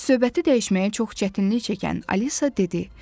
Söhbəti dəyişməyə çox çətinlik çəkən Alisa dedi.